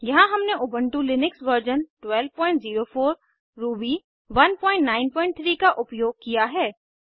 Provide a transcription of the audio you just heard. यहाँ हमने Ubuntu Linux version 1204 Ruby 193 का उपयोग किया हैं